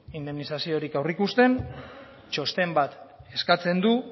indemnizaziorik aurreikusten txosten bat eskatzen du